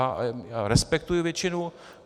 Já respektuji většinu.